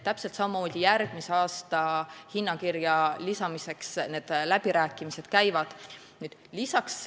Täpselt samamoodi käivad läbirääkimised selle üle, mida järgmise aasta hinnakirja saab lisada.